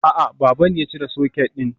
A'a, baba ne ya cire socket din.